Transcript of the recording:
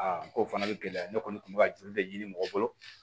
n ko o fana bɛ gɛlɛya ne kɔni kun bɛ ka joli de ɲini mɔgɔ bolo